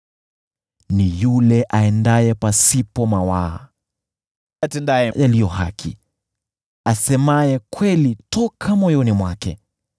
Ni yule aendaye pasipo mawaa, atendaye yaliyo haki, asemaye kweli toka moyoni mwake,